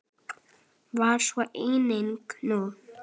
Var svo einnig nú.